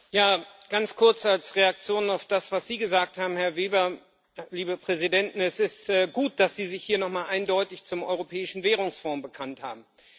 Ja, ganz kurz als Reaktion auf das, was Sie gesagt haben, Herr Weber Liebe Präsidenten, es ist gut, dass Sie sich hier noch mal eindeutig zum Europäischen Währungsfonds bekannt haben.